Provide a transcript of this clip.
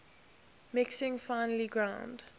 mixing finely ground